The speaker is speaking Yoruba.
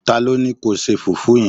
talo Ni kio se fufu yen